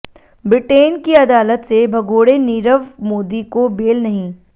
Britain की अदालत से भगोड़े नीरव मोदी को बेल नहीं